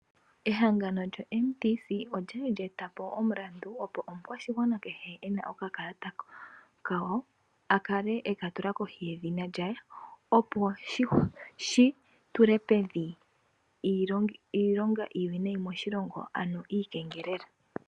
Ehangano lyo Mtc olyali lya etapo omulanda opo omukwashigwana kehe ena okakalata kawo akale ekatula kohi yedhina lye, opo oshigwana shitule pevi iilonga iiwinayi moshilongo ano uukengeleli.